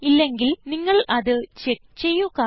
ഇല്ലെങ്കിൽ നിങ്ങൾ അത് ചെക്ക് ചെയ്യുക